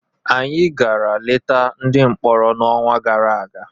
Anyị gara leta ndị mkpọrọ n'ọnwa gara aga.